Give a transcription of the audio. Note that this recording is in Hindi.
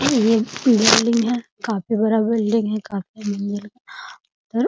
ये पीला बिल्डिंग है काफी बड़ा बिल्डिंग है काफी और --